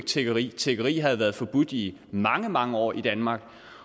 tiggeri tiggeri havde været forbudt i mange mange år i danmark